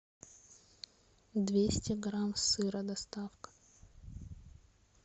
двести грамм сыра доставка